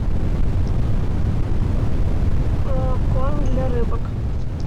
корм для рыбок